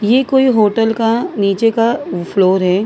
ये कोई होटल का नीचे का फ्लोर है।